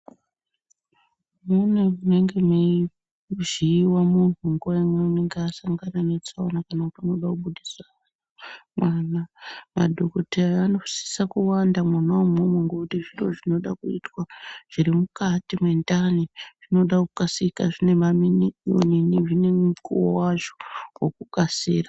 Mune munenge meivhiiwa munhu munguva imweni unenge asangana netsaona kana kuti unoda kubudisa mwana, madhokoteya anosisa kuwanda mwona imwoomo ngekuti zvinoda kuitwa zviri mukati mendani, zvinoda kukasika zvine zvine mukuwo wazvo wokukasira.